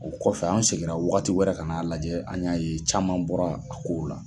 O kɔfɛ an seginna wagatiwɛrɛ kan'a lajɛ an y'a ye caman bɔra a ko la.